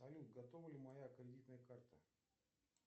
салют готова ли моя кредитная карта